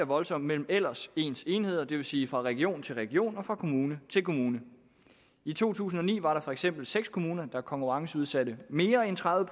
voldsomt mellem ellers ens enheder det vil sige fra region til region og fra kommune til kommune i to tusind og ni var der for eksempel seks kommuner der konkurrenceudsatte mere end tredive